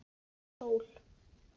Sól